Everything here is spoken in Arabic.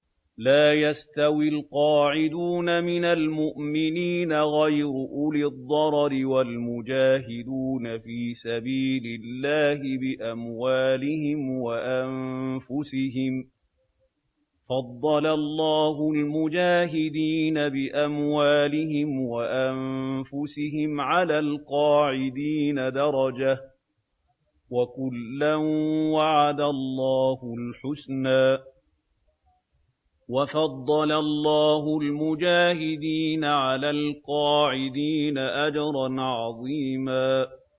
لَّا يَسْتَوِي الْقَاعِدُونَ مِنَ الْمُؤْمِنِينَ غَيْرُ أُولِي الضَّرَرِ وَالْمُجَاهِدُونَ فِي سَبِيلِ اللَّهِ بِأَمْوَالِهِمْ وَأَنفُسِهِمْ ۚ فَضَّلَ اللَّهُ الْمُجَاهِدِينَ بِأَمْوَالِهِمْ وَأَنفُسِهِمْ عَلَى الْقَاعِدِينَ دَرَجَةً ۚ وَكُلًّا وَعَدَ اللَّهُ الْحُسْنَىٰ ۚ وَفَضَّلَ اللَّهُ الْمُجَاهِدِينَ عَلَى الْقَاعِدِينَ أَجْرًا عَظِيمًا